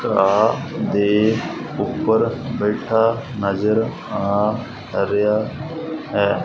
ਘਾ ਦੇ ਉਪਰ ਬੈਠਾ ਨਜ਼ਰ ਆ ਰਿਹਾ।